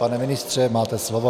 Pane ministře, máte slovo.